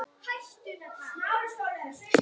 Kíkti ofan í næstu.